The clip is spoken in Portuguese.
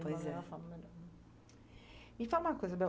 Pois é. Já já falo melhor. Me fala uma coisa, Bel.